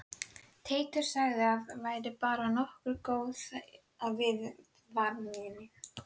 Og fágað var og tandurhreint í kringum hana.